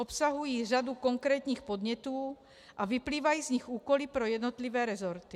Obsahují řadu konkrétních podnětů a vyplývají z nich úkoly pro jednotlivé rezorty.